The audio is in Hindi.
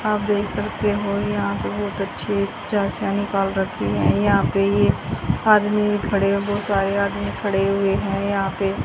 आप देख सकते हो यहां पे बहोत अच्छे निकाल रखी है यहां पे ये आदमी खड़े हो बहु सारे आदमी खड़े हुए है यहां पे--